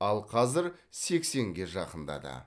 ал қазір сексенге жақындады